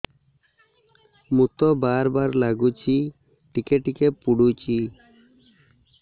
ମୁତ ବାର୍ ବାର୍ ଲାଗୁଚି ଟିକେ ଟିକେ ପୁଡୁଚି